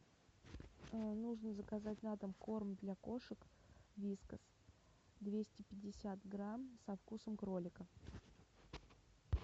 нужно заказать на дом корм для кошек вискас двести пятьдесят грамм со вкусом кролика